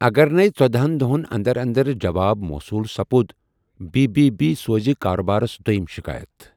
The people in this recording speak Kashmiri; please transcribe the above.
اگر نیہ ژٔدہَن دوہن اندر اندر جواب موصوُل سپدِ بی بی بی سوزِ كاربارس دویِم شكایت ۔